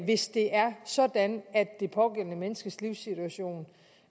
hvis det er sådan at det pågældende menneskes livssituation